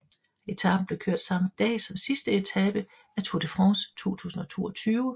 Etapen blev kørt samme dag som sidste etape af Tour de France 2022